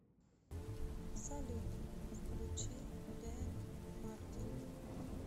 салют включи дин мартин